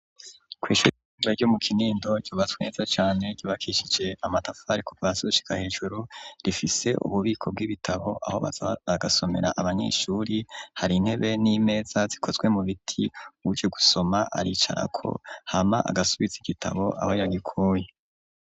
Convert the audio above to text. Kw'ishuri ritoya ryo mu Kinindo, ryubatswe neza cane, ryubakishije amatafari kuva hasi gushika hejuru, rifise ububiko bw'ibitabo aho baza bagasomera abanyeshuri, hari intebe n'imeza zikozwe mu biti, uje gusoma aricarako hama agasubiza igitabo aho yagikuye.